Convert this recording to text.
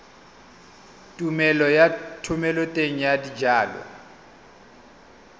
tumelelo ya thomeloteng ya dijalo